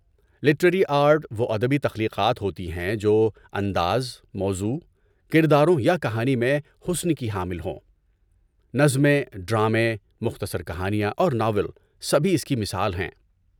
Literary art وہ ادبی تخلیقات ہوتی ہیں جو انداز، موضوع، کرداروں یا کہانی میں حسن کی حامل ہوں۔ نظمیں، ڈرامے، مختصر کہانیاں اور ناول سبھی اس کی مثال ہیں۔